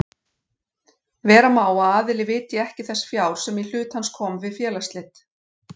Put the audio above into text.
Vera má að aðili vitji ekki þess fjár sem í hlut hans kom við félagsslit.